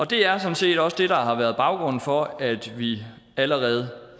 det er sådan set også det der har været baggrunden for at vi allerede